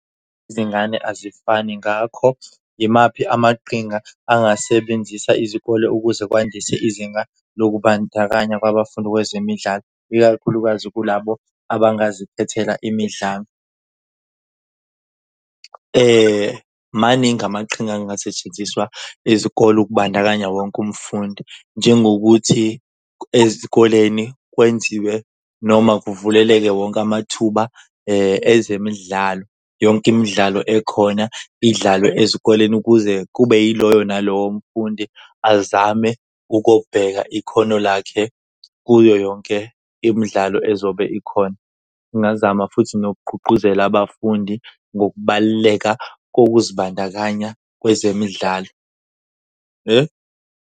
Izingane azifani ngakho imaphi amaqhinga angasebenzisa izikole ukuze kwandise izinga lokubandakanya kwabafundi kwezemidlalo, ikakhulukazi kulabo abangazikhethela imidlalo? Maningi amaqhinga angasetshenziswa izikole ukubandakanya wonke umfundi njengokuthi ezikoleni kwenziwe noma kuvuleleke wonke amathuba ezemidlalo. Yonke imidlalo ekhona idlalwe ezikoleni ukuze kube yiloyo nalowo mfundi azame ukobheka ikhono lakhe kuyoyonke yonke imidlalo ezobe ikhona. Ngingazama futhi nokugqugquzela abafundi ngokubaluleka kokuzibandakanya kwezemidlalo.